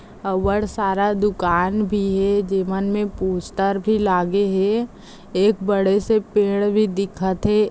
और सारा दुकान भी है जीवनमे पोस्टर भी लागे है एक बड़े से पेड़ भी दिखते --